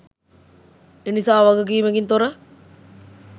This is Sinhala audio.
එනිසා වගකීමකින් තොර